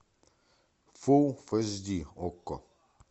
фул эйч ди окко